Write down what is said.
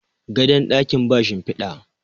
gadon dakin ba shimfida